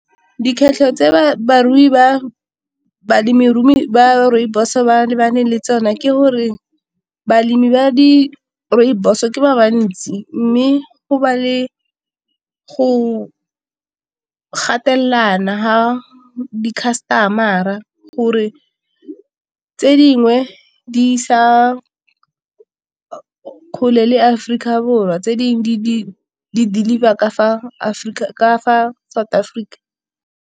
Dikgwetlho tse balemirui ba rooibos ba lebaneng le tsone ke gore balemi ba di rooibos ke ba bantsi, mme go ba le go latelana fa di customer-a gore tse dingwe di sa kgole le Aforika Borwa tse dingwe di- deliver Ka fa South Africa.